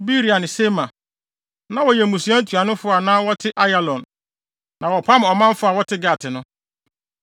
Beria ne Sema. Na wɔyɛ mmusua ntuanofo a na wɔte Ayalon, na wɔpam ɔmanfo a wɔte Gat no.